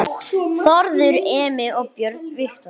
Þórður Emi og Björn Viktor